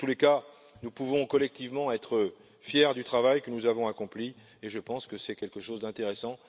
Quoi qu'il en soit, nous pouvons collectivement être fiers du travail que nous avons accompli, je pense que c'est quelque chose d'intéressant.